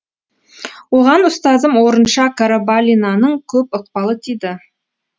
оған ұстазым орынша қарабалинаның көп ықпалы тиді